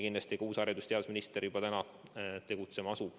Kindlasti uus haridus- ja teadusminister asub juba täna tegutsema.